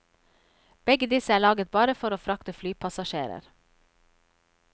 Begge disse er laget bare for å frakte flypassasjerer.